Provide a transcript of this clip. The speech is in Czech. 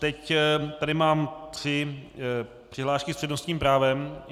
Teď tady mám tři přihlášky s přednostním právem.